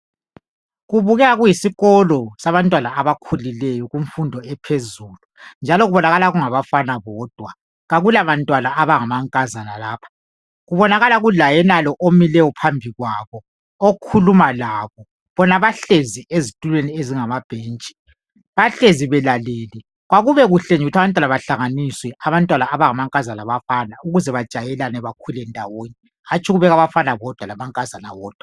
kubukeka kuyisikolo sabantwana abakhulileyo kumfundo ephezulu njalo kubonakala kungabafana bodwa akula bantwana abangama nkazana lapha kubonakala kula yenalo omileyo phambi kwabo okhuluma labo bona bahlezi ezitulweni ezingamabhentshi bahlezi belalele kuyabe kube kuhle nje ukuthi abantwana bahlanganiswe abantwana abangama nkazana labafana ukuze bajayelane bakhule ndawonye hatshi ukuthi abafana bodwa lamankazana wodwa